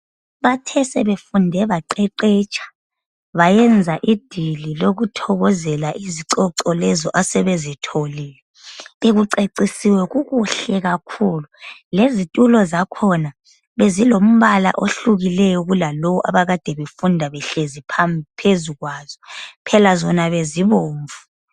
bathe sebefunde baqeqetsha bayenza idili lokuthokozela izicoco lezo asebezitholile bekucecisiwe kukuhle kakhulu lezitulo zakhona bezilombala ohlukileyo kulalowo abakade befunda behlezi phezu kwazo phela zona bezibomvu